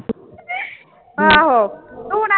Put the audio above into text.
ਆਹੋ ਦੂਣਾ